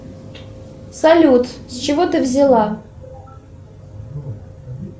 салют с чего ты взяла